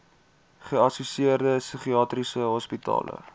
geassosieerde psigiatriese hospitale